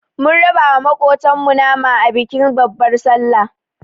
Mun raba wa maƙotan mu nama a bikin babbar sallar